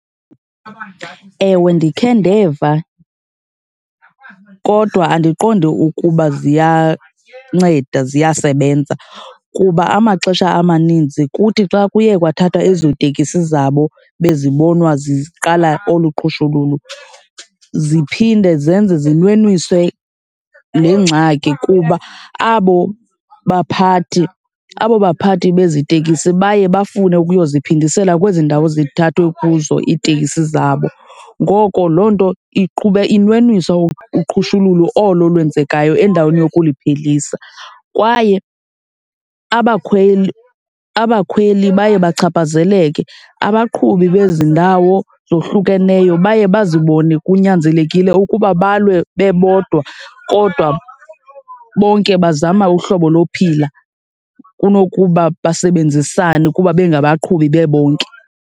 Ewe, ndikhe ndeva kodwa andiqondi ukuba ziyanceda ziyasebenza kuba amaxesha amaninzi kuthi xa kuye kwathathwa ezo tekisi zabo bezibonwa ziqala olu qhushululu ziphinde zenze zinwenise le ngxaki kuba abo baphathi, abo baphathi bezi tekisi baye bafune ukuyo ziphindisela kwezi ndawo zithathwe kuzo iitekisi zabo. Ngoko loo nto iqhuba, inwenwisa uqhushululu olo lwenzekayo endaweni yokuliphelisa kwaye abakhweli, abakhweli baye bachaphazeleke. Abaqhubi bezi ndawo ezohlukeneyo baye bazibone kunyanzelekile ukuba balwe bebodwa kodwa bonke bazama uhlobo lokuphila kunokuba basebenzisane kuba bengabaqhubi bebonke.